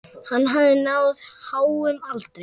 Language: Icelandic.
Hann hafði náð háum aldri.